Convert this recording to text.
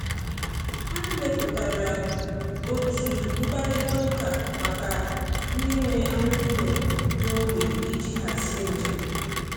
Ha mepụtara otu mkparịta ụka maka ndị nwe anụ ụlọ n’ógbè iji hazie njem.